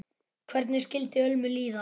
Hvernig skyldi Ölmu líða?